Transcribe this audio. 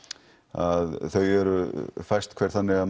að þau eru fæst hver þannig að